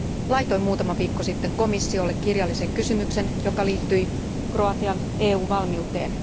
Laitoin muutama viikko sitten komissiolle kirjallisen kysymyksen, joka liittyi Kroatian EU valmiuteen.